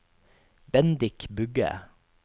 Bendik Bugge